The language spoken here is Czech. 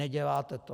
Neděláte to.